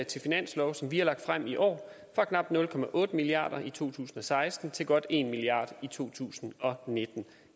til finanslov som vi har fremsat i år fra knap nul milliard kroner i to tusind og seksten til godt en milliard i to tusind og nitten